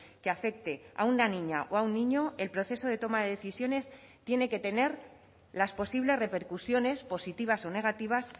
que afecte a una niña o a un niño el proceso de toma de decisiones tiene que tener las posibles repercusiones positivas o negativas